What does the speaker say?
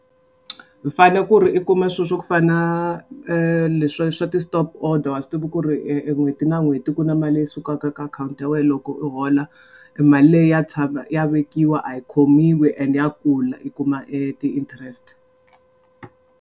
Fanele ku ri i kuma swilo swa ku fana leswa swa ti-stop order swi tivi ku ri n'hweti na n'hweti ku na mali leyi sukaka ka akhawunti ya wena loko u hola e mali leyi ya tshama ya vekiwa a yi khomiwi and ya kula i kuma i ti-interest.